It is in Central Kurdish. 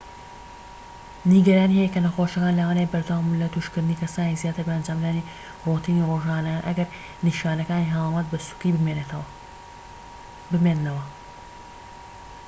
نیگەرانی هەیە کە نەخۆشەکان لەوانەیە بەردەوام بن لە توشکردنی کەسانی زیاتر بە ئەنجامدانی رۆتینی ڕۆژانەیان ئەگەر نیشانەکانی هەڵامەت بە سووکی بمێننەوە